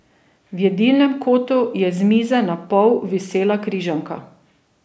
V jedilnem kotu je z mize napol visela križanka.